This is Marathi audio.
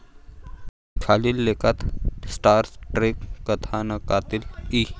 खालील लेखात स्टार ट्रेक कथानकातील ई.